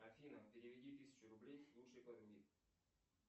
афина переведи тысячу рублей лучшей подруге